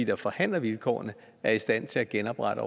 der forhandler vilkårene er i stand til at genoprette